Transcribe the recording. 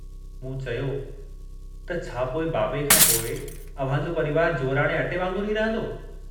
मूं चयो त छा पोइ बाबे खांपोइ अव्हांजो परिवार जूअराणे अटे वांगुरु ई रहंदो।